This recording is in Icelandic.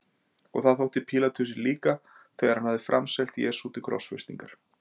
Og það þótti Pílatusi líka þegar hann hafði framselt Jesú til krossfestingar.